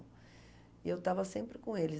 E eu estava sempre com eles.